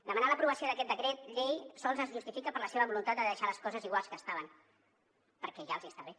demanar l’aprovació d’aquest decret llei sols es justifica per la seva voluntat de deixar les coses igual que estaven perquè ja els està bé